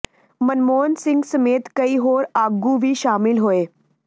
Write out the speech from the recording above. ਮਨਮੋਹਨ ਸਿੰਘ ਸਮੇਤ ਕਈ ਹੋਰ ਆਗੂ ਵੀ ਸ਼ਾਮਲ ਹੋਏ